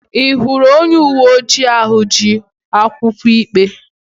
Ị hụrụ onye uwe ojii ahụ ji akwụkwọ ikpe?